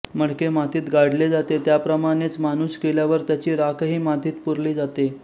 मडके मातीत गाडले जाते त्याप्रमाणेच माणूस गेल्यावर त्याची राखही मातीत पुरली जाते